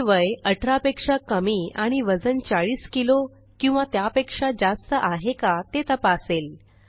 हे वय 18पेक्षा कमी आणि वजन 40किलो किंवा त्यापेक्षा जास्त आहे का ते तपासेल